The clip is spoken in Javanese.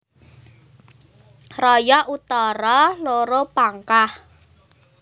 Raya Utara loro Pangkah